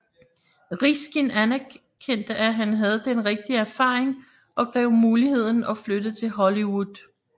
Riskin erkendte at han havde den rigige erfaring og greb muligheden og flyttede til Hollywood